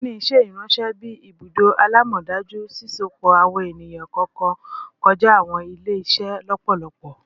LinkedIn ṣe iranṣẹ bi ibudo alamọdaju, sisopọ awọn eniyan kọọkan kọja awọn ile-iṣẹ lọpọlọpọ